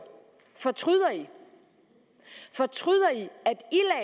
fortryder i fortryder i at